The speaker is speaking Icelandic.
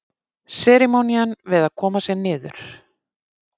Seremónían við að koma sér niður.